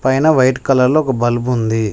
పైన వైట్ కలర్లో ఒక బల్బ్ ఉంది.